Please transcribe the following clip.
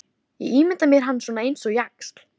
Ég ímynda mér hann svona eins og jaxl.